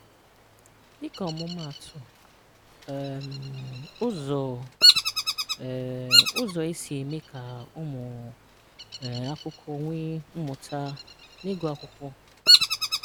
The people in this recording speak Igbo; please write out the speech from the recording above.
Dịka ọmụmaatụ: um “Ụzọ um “Ụzọ e si eme ka ụmụ um akwụkwọ nwee mmụta n’ịgụ akwụkwọ.”